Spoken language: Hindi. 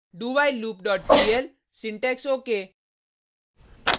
dowhilelooppl syntax ok